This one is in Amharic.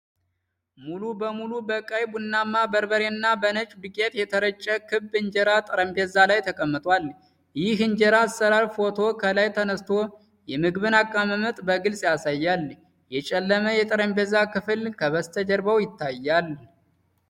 ሙሉ በሙሉ በቀይ-ቡናማ በርበሬና በነጭ ዱቄት የተረጨ የክብ እንጀራ ጠረጴዛ ላይ ተቀምጧል። ይህ የእንጀራ አሰራር ፎቶ ከላይ ተነስቶ የምግብን አቀማመጥ በግልፅ ያሳያል። የጨለመ የጠረጴዛ ክፍል ከበስተጀርባው ይታያል።